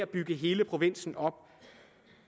bygge hele provinsen op